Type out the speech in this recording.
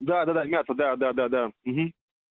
да да да мята да да да угу